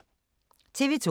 TV 2